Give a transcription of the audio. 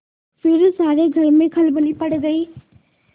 फिर सारे घर में खलबली पड़ गयी